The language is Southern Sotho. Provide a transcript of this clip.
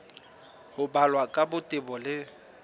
ho balwa ka botebo le